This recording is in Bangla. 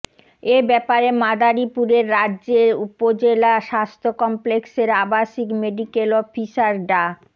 এ ব্যাপারে মাদারীপুরের রাজৈর উপজেলা স্বাস্থ্য কমপ্লেক্সের আবাসিক মেডিকেল অফিসার ডা